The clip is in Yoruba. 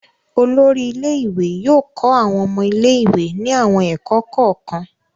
Olórí ilé-ìwé yóò kọ́ àwọn ọmọ ilé-ìwé ní àwọn ẹ̀kọ́ kọ̀ọ̀kan.